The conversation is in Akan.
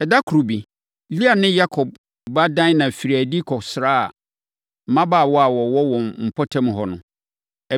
Ɛda koro bi, Lea ne Yakob ba Dina firii adi kɔsraa mmabaawa a wɔwɔ wɔn mpɔtam hɔ no.